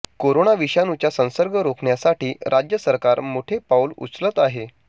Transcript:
corona विषाणूचा संसर्ग रोखण्यासाठी राज्य सरकार मोठे पाऊल उचलत आहे